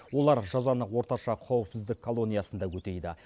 олар жазаны орташа қауіпсіздік колониясында өтейді